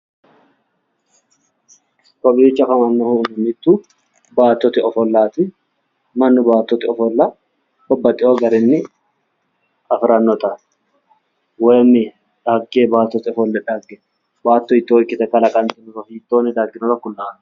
Kowiicho afamannohu mittu baattote ofollaati. Mannu baattote ofolla babbaxxiwo garinni afirannota woyi dhagge baattote ofolla dhagge baatto hiittoo ikkite kalaqantinoro hiittoonni dagginoro kulaaho.